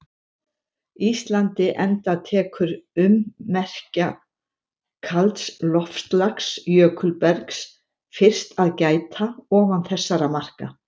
Íslandi enda tekur ummerkja kalds loftslags- jökulbergs- fyrst að gæta ofan þessara marka.